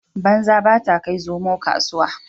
Banza ba ta kai zomo kasuwa